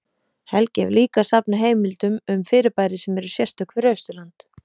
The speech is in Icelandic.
Helgi hefur líka safnað heimildum um fyrirbæri sem eru sérstök fyrir Austurland.